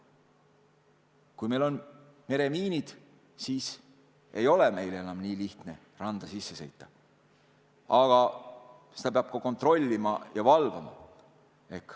Kui meil on meremiinid, siis ei ole enam nii lihtne randa sisse sõita, aga seda peab ka kontrollima ja valvama.